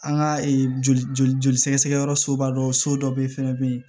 An ka joli joli sɛgɛsɛgɛ yɔrɔ soba dɔ so dɔ ye fɛnɛ bɛ yen